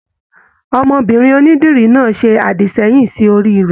Ọmọbinrin onídìrí náà se adisẹ̀yin sí orí rẹ.